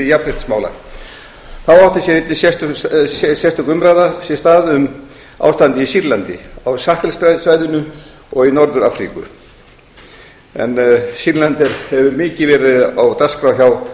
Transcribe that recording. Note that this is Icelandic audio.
jafnréttismála þá átti sér einnig stað sérstök umræða um ástandið í sýrlandi á sahel svæðinu og í norður afríku en sýrland hefur mikið verið á dagskrá